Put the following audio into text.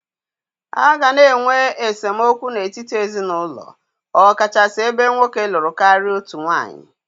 A ga-ana enwe esemokwu n'etiti ezinaụlọ ọkachasị ebe nwoke lụrụ karịa otu nwaanyị.